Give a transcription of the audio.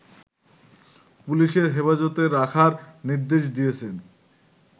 পুলিশের হেফাজতে রাখার নির্দেশ দিয়েছেন